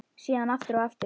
Síðan aftur og aftur.